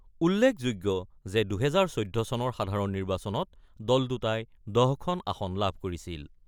উল্লেখযোগ্য যে, ২০১৪ চনৰ সাধাৰণ নিৰ্বাচনত দল দুটাই ১০খন আসন লাভ কৰিছিল।